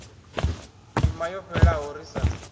ndima yo fhelaho ri sa